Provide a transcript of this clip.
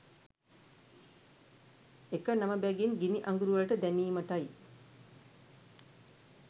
එක නම බැගින් ගිනි අඟුරු වළට දැමීමටයි